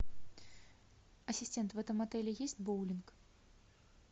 ассистент в этом отеле есть боулинг